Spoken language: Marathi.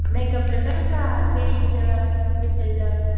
मेकअपचं नाही का थ्रेडींगचं फेशिअलचं.